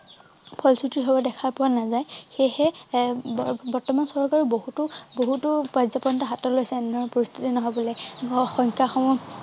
ফলশ্ৰুতি ভাবে দেখা পোৱা নাযায় সেইহে এৰ বৰ্তমান চৰকাৰ বহুতো বহুতো কায্য পন্থা হাতত লৈছে এনেধৰনে পৰিস্থিতি নহবলে সংখ্যা সমূহ